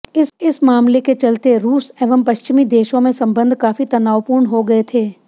इस मामले के चलते रूस एवं पश्चिमी देशों में संबंध काफी तनावपूर्ण हो गए थे